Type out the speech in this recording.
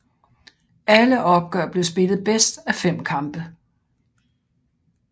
Alle opgør blev spillet bedst af fem kampe